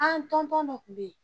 An dɔ kun be yen.